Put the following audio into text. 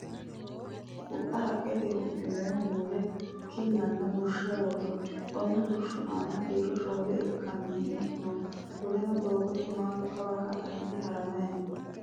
Hixxu haqqeteyi huxxinoyihu mule kinnanna bushsha woroyi. Konne bushshu aana kiiro shoole ikkanno mei no. Qoleno doogote mannu kawa ka'a hige haramayi no.